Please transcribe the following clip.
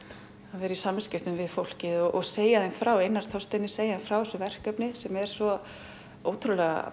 að vera í samskiptum við fólkið segja því frá Einari Þorsteini segja frá þessu verkefni sem er svo ótrúlega